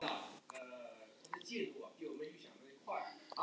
Barkakýlið gekk upp og niður.